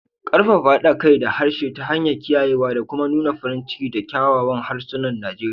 Ƙarfafa haɗa kai da harshe ta hanyar kiyayewa da kuma nuna farin ciki da kyawawan harsunan Nijeriya